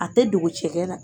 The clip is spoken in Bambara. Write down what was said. A tɛ dogo cɛgɛ la